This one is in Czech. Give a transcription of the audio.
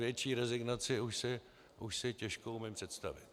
Větší rezignaci už si těžko umím představit.